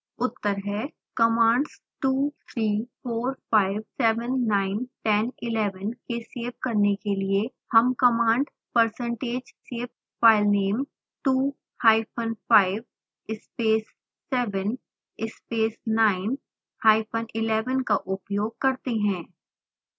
उत्तर हैं